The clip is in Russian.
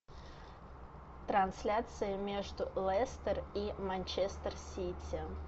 трансляция между лестер и манчестер сити